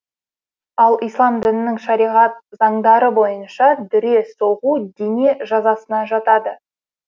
ал ислам дінінің шариғат заңдары бойынша дүре соғу дене жазасына жатады